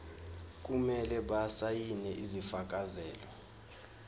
kumele basayine isifakazelo